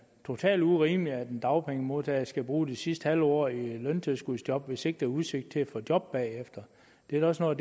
totalt urimeligt at en dagpengemodtager skal bruge det sidste halve år i løntilskudsjob hvis ikke der er udsigt til at få job bagefter det er da også noget